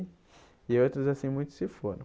E outros, assim, muitos se foram.